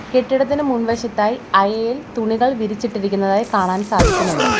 കെട്ടിടത്തിനു മുൻവശത്തായി അയയിൽ തുണികൾ വിരിച്ചിട്ടിരിക്കുന്നതായി കാണാൻ സാധിക്കുന്നുണ്ട്.